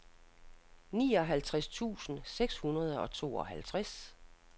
nioghalvtreds tusind seks hundrede og tooghalvtreds